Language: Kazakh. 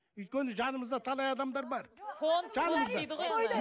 өйткені жанымызда талай адамдар бар жанымызда